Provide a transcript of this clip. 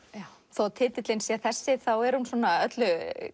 þó titillinn sé þessi er hún öllu